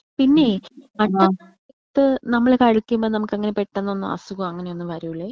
പിന്നെ പണ്ട് സമയത്ത് നമ്മൾ കളിക്കുമ്പോ നമ്മുക്ക് അങ്ങനെ പെട്ടന്ന് ഒന്നും അസുഗോ അങ്ങനെ ഒന്നും വരൂലേ?